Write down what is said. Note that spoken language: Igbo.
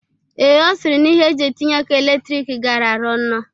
Ee, Ọ sịrị na ihe eji etinye ọkụ elektrik garara ọnụ.